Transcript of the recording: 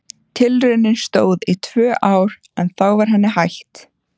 Tilraunin stóð í tvö ár en þá var henni hætt.